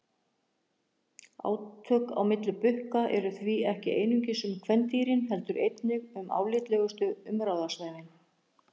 Átök á milli bukka eru því ekki einungis um kvendýrin heldur einnig um álitlegustu umráðasvæðin.